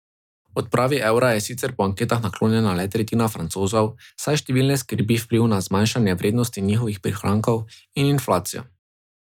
Odpravi evra je sicer po anketah naklonjena le tretjina Francozov, saj številne skrbi vpliv na zmanjšanje vrednosti njihovih prihrankov in inflacijo.